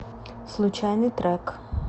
случайный трек